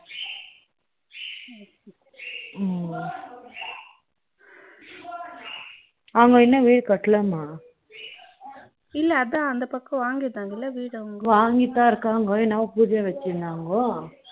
ம் ம் அவங்க இன்னும் வீடு கட்டல மா இல்ல அதான் அந்த பக்கம் வாங்கிட்டாங்கள வீடு அவங்க வாங்கிட்டுதான் இருக்காங்க என்னவோ பூஜை வச்சி இருந்தாங்க